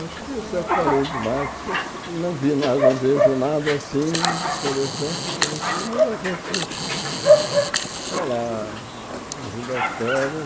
Acho que eu já falei demais, porque não vi nada não vejo nada assim interessante para você, mas a gente, sei lá, rindo as pernas.